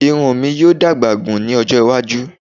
Irun mi yoo dagba gun ni ojo iwaju